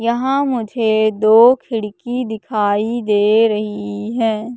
यहां मुझे दो खिड़की दिखाई दे रही है।